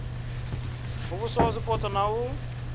muvhuso wa zwipotso na u